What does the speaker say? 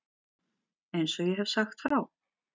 Eins og ég hef sagt frá.